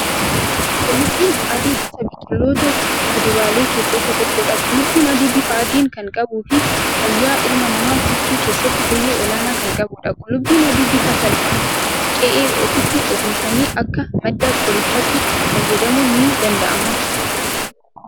Qullubbiin adii gosa biqiloota kuduraalee keessaa isa tokkodha. Qullubbiin adii bifa adii kan qabuu fi fayyaa ilma namaa tiksuu keessatti gahee olaanaa kan qabudha. Qullubbiin adii bifa salphaan qe'ee ofiitti oomishanii akka madda qorichaatti itti fayyadamuun ni danda'ama.